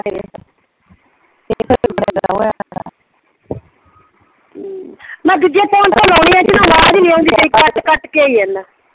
ਮੈਂ ਦੂਜੇ ਫੋਨ ਤੇ ਲਾਉਣੀ ਆਂ ਇਹਦੇ ਚ ਆਵਾਜ਼ ਨਈਂ ਆਉਂਦੀ ਤੇਰੀ ਕੱਟ ਕੱਟ ਕੇ ਆਈ ਜਾਂਦਾ।